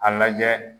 A lajɛ